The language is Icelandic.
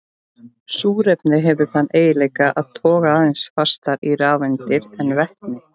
Súrefni hefur þann eiginleika að toga aðeins fastar í rafeindir en vetni.